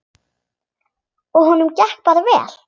Og honum gekk bara vel.